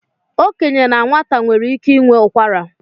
Okenye na nwata nwere ike inwe ụkwara